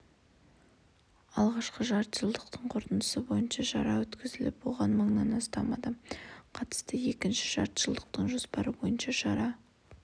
алғашқы жартыжылдықтың қорытындысы бойынша шара өткізіліп оған мыңнан астам адам қатысты екінші жартыжылдықтың жоспары бойынша шара